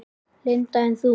Linda: En þú?